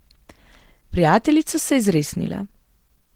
Prijateljica se je zresnila.